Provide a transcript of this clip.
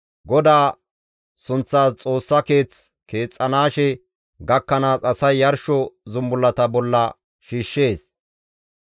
GODAA sunththas Xoossa Keeth keexettanaashe gakkanaas asay yarsho zumbullata bolla shiishshees.